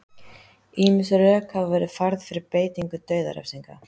ýmis rök hafa verið færð fyrir beitingu dauðarefsinga